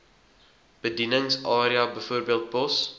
bedieningsarea bv pos